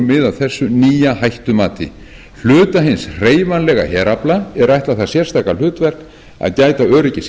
af þessu nýja hættumati hluta hins hreyfanlega herafla er ætlað það sérstaka hlutverk að gæta öryggis